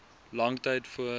lang tyd voor